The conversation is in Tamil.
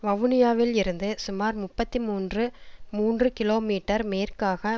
வவுனியாவில் இருந்து சுமார் முப்பத்தி மூன்று மூன்று கிலோமீட்டர் மேற்காக